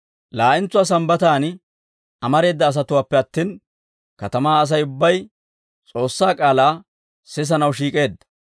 Laa'entsuwaa Sambbataan amareeda asatuwaappe attin, katamaa Asay ubbay S'oossaa k'aalaa sisanaw shiik'eedda.